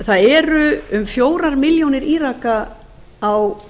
það eru um fjórar milljónir íraka á